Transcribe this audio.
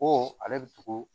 Ko ale bɛ tugu